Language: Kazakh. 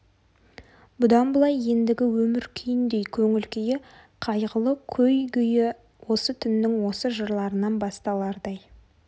бұдан былай да ендігі өмір күйіндей көңіл күйі қайғылы көй-гөйі осы түннің осы жырларынан басталардай